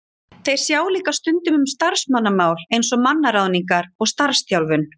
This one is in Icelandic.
Þeir sjá líka stundum um starfsmannamál eins og mannaráðningar og starfsþjálfun.